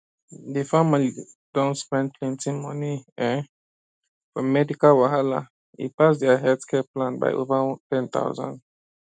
di family don spend plenty money um for medical wahala e pass dia healthcare plan by over 10000